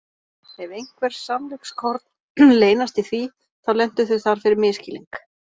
Ef einhver sannleikskorn leynast í því, þá lentu þau þar fyrir misskilning.